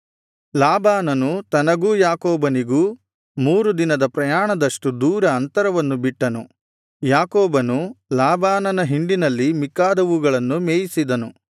ಲಾಬಾನನು ತನಗೂ ಯಾಕೋಬನಿಗೂ ಮೂರು ದಿನದ ಪ್ರಯಾಣದಷ್ಟು ದೂರ ಅಂತರವನ್ನು ಬಿಟ್ಟನು ಯಾಕೋಬನು ಲಾಬಾನನ ಹಿಂಡಿನಲ್ಲಿ ಮಿಕ್ಕಾದವುಗಳನ್ನು ಮೇಯಿಸಿದನು